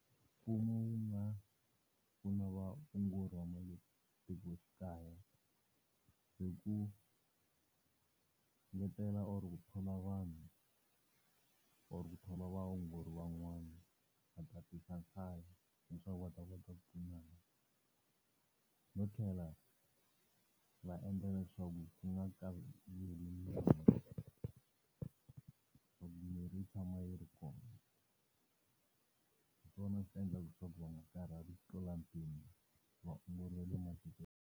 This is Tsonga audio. Mfumo wu nga pfuna vaongori va nga le matikoxikaya, hi ku ngetela or ku thola vanhu or ku thola vaongori van'wana va tatisa nhlayo leswaku va ta kota ku pfunana. No tlhela va endla leswaku ku nga ka kayiveli mirhi. Loko miri yi tshama yi ri kona, hi swona swi endlaka leswaku va nga karhali ku tlula mpimo. Vaongori va le .